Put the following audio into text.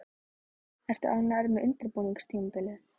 Ertu ánægður með undirbúningstímabilið?